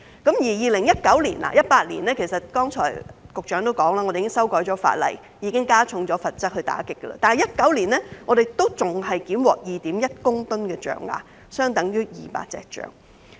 正如剛才局長所述，我們已經在2018年修改法例，加重罰則來打擊，但在2019年，我們仍檢獲 2.1 公噸象牙，相等於200隻大象。